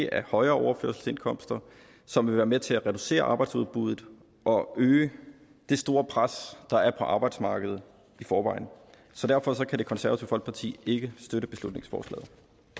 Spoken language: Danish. er højere overførselsindkomster som vil være med til at reducere arbejdsudbuddet og øge det store pres der er på arbejdsmarkedet i forvejen så derfor kan det konservative folkeparti ikke støtte beslutningsforslaget